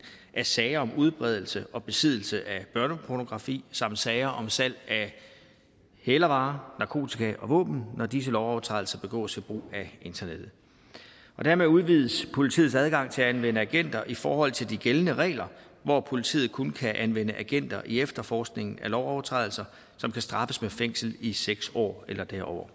af sager om udbredelse og besiddelse af børnepornografi samt sager om salg af hælervarer narkotika og våben når disse lovovertrædelser begås ved brug af internettet dermed udvides politiets adgang til at anvende agenter i forhold til de gældende regler hvor politiet kun kan anvende agenter i efterforskningen af lovovertrædelser som kan straffes med fængsel i seks år eller derover